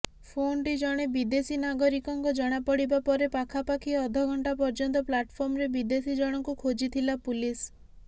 ଫୋନଟି ଜଣେ ବିଦେଶୀ ନାଗରିକଙ୍କ ଜଣାପଡିବା ପରେ ପାଖାପାଖି ଅଧଘଣ୍ଟା ପର୍ଯ୍ୟନ୍ତ ପ୍ଲାଟଫର୍ମରେ ବିଦେଶୀ ଜଣଙ୍କୁ ଖୋଜିଥିଲା ପୁଲିସ୍